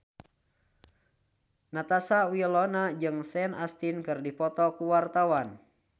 Natasha Wilona jeung Sean Astin keur dipoto ku wartawan